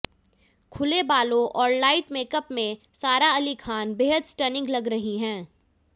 खुले बालों और लाइट मेकअप में सारा अली खान बेहद स्टनिंग लग रही हैं